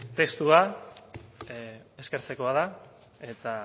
testua eskertzekoa da eta